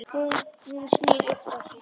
Hún snýr upp á sig.